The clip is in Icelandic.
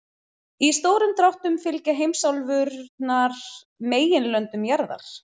Í stórum dráttum fylgja heimsálfurnar meginlöndum jarðar.